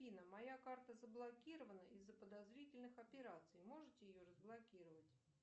афина моя карта заблокирована из за подозрительных операций можете ее разблокировать